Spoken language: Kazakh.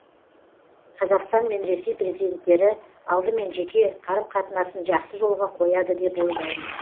қазақстан мен ресей президенттері алдымен жеке қарым қатынасын жақсы жолға қояды деп ойлаймын